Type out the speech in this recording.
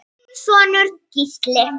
Þinn sonur, Gísli.